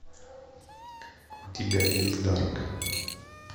у тебя есть дарк